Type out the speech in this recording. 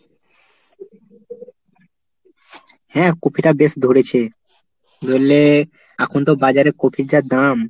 হ্যাঁ কপিটা বেশ ধরেছে। ধরলে এখন তো বাজারের কপির যা দাম!